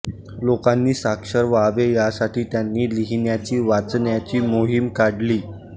लोकांनी साक्षर व्हावे यासाठी त्यांनी लिहिण्याची वाचण्याची मोहीम काढली